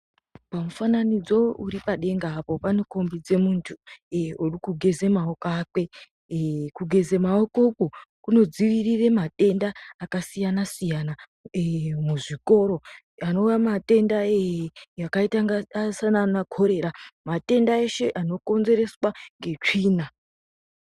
Pamufananidzo uri padenga apo pandokombidze muntu uri kugeze mawoko ake kugeze maoko uku kundodzivirire matenda akasiyana siyana muzvikoro anova matenda akaita kunga sana chorera matenda eshe andokonzereswa ngesvina